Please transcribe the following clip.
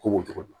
Ko cogo dun